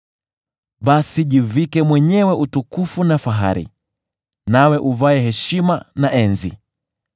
Basi jivike mwenyewe utukufu na fahari, nawe uvae heshima na enzi.